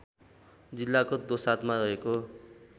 जिल्लाको दोसाधमा रहेको